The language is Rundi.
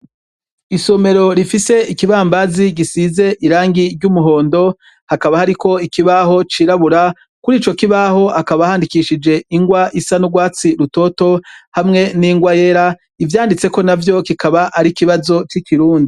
Isomero rifise ikibambazi gisize irangi ry'umuhondo, hakaba hariko ikibaho c'irabura, kuri ico kibaho hakaba handidikishije ingwa isa n'urwatsi rutoto, hamwe n'ingwa yera, ivyanditseko na vyo kikaba ari ikibazo c'ikirundi.